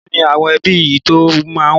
Mélòó ni àwọn ẹbí yín tó máa wá?